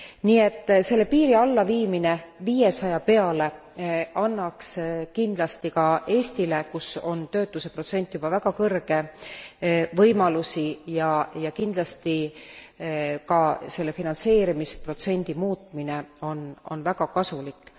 Nii et selle piiri allaviimine viiesaja peale annaks kindlasti ka Eestile kus on töötuse protsent juba väga kõrge võimalusi ja kindlasti ka selle finantseerimisprotsendi muutmine on väga kasulik.